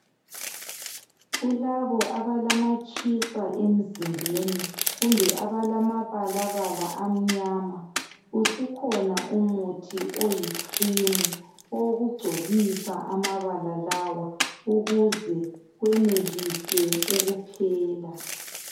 Kulabo abalamatshisa emzimbeni kumbe abalamabalabala amnyama usukhona umuthi oyi cream owokugcobisa amabala lawa ukuze kwenelise ukuphela.